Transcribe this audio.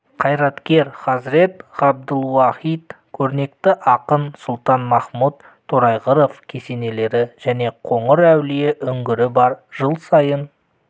қайраткер хазірет ғабдылуахит көрнекті ақын сұлтанмахмұт торайғыров кесенелері және қоңыр әулие үңгірі бар жыл сайын